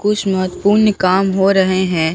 कुछ महत्वपूर्ण काम हो रहे हैं।